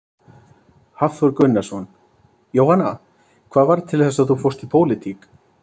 Hafþór Gunnarsson: Jóhanna, hvað varð til þess að þú fórst í pólitík?